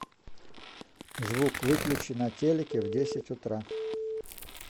звук выключи на телике в десять утра